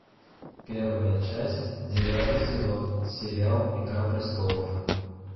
первая часть девятый сезон сериал игра престолов